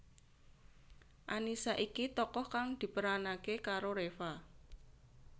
Annisa iki tokoh kang diperanaké karo Reva